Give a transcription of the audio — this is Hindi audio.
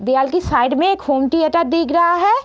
दीवाल की साइड में एक होम थिएटर दिख रहा है।